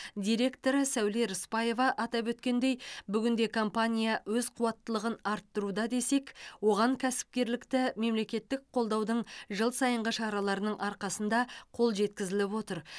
директоры сәуле рысбаева атап өткендей бүгінде компания өз қуаттылығын арттыруда десек оған кәсіпкерлікті мемлекеттік қолдаудың жыл сайынғы шараларының арқасында қол жеткізіліп отыр